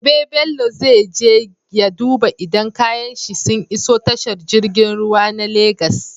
Gobe bello zai je ya duba idan kayan shi sun iso tashar girgin ruwa na lagos